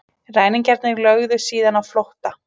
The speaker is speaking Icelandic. Ræningjarnir lögðu síðan á flótta